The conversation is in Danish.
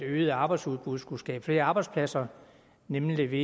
øget arbejdsudbud skulle skaffe flere arbejdspladser nemlig ved